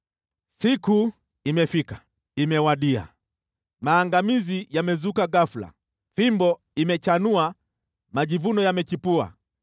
“Siku imefika! Imewadia! Maangamizi yamezuka ghafula, fimbo imechanua majivuno yamechipua!